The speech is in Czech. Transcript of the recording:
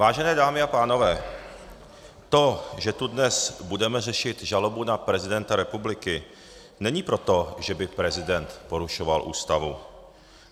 Vážené dámy a pánové, to, že tu dnes budeme řešit žalobu na prezidenta republiky, není proto, že by prezident porušoval Ústavu.